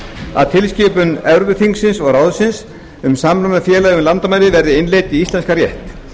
að tilskipun evrópuþingsins og ráðsins um samruna félaga yfir landamæri verði innleidd í íslenskan rétt